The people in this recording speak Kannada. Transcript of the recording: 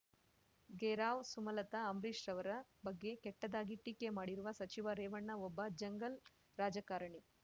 ಘೇರಾವ್ ಸುಮಲತಾ ಅಂಬರೀಷ್ ರವರ ಬಗ್ಗೆ ಕೆಟ್ಟದ್ದಾಗಿ ಟೀಕೆ ಮಾಡಿರುವ ಸಚಿವ ರೇವಣ್ಣ ಒಬ್ಬ ಜಂಗಲ್ ರಾಜಕಾರಣಿ